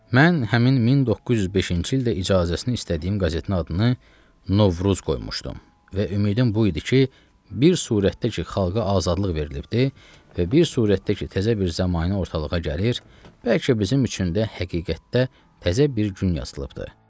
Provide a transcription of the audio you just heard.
Mən həmin 1905-ci ildə icazəsini istədiyim qəzetin adını Novruz qoymuşdum və ümidim bu idi ki, bir surətdə ki, xalqa azadlıq verilibdir və bir surətdə ki, təzə bir zəmanə ortalığa gəlir, bəlkə bizim üçün də həqiqətdə təzə bir gün yazılıbdır.